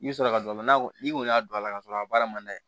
I bɛ sɔrɔ ka don a la n'a ko n'i kɔni y'a don a la ka sɔrɔ a baara man d'a ye